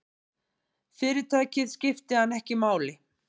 Fyrirtækið skipti hann ekki máli.